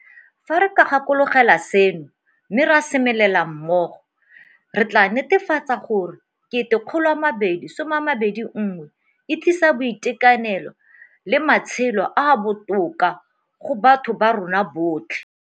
Fa re ka gakologelwa seno, mme ra semelela mmogo, re tla netefatsa gore 2021 e tlisa boitekanelo le matshelo a a botoka go batho ba rona botlhe.